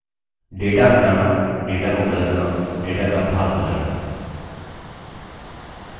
data हटाना data को बदलना data का भाग बदलना